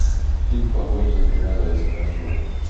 фильм погоня за тремя зайцами открой